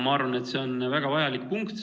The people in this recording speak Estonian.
Ma arvan, et see on väga vajalik punkt.